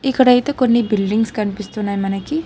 ఇక్కడైతే కొన్ని బిల్డింగ్స్ కనిపిస్తున్నాయ్ మనకి.